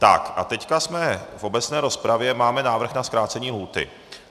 Tak a teď jsme v obecné rozpravě, máme návrh na zkrácení lhůty.